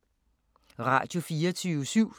Radio24syv